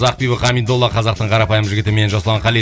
ақбибі қамидолла қазақтың қарапайым жігіті мен жасұлан қали